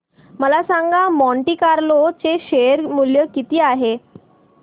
मला सांगा Monte Carlo चे शेअर मूल्य किती आहे